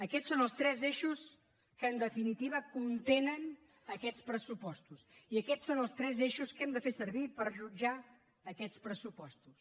aquests són els tres eixos que en definitiva contenen aquests pressupostos i aquests són els tres eixos que hem de fer servir per jutjar aquests pressupostos